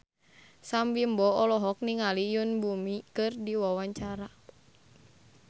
Sam Bimbo olohok ningali Yoon Bomi keur diwawancara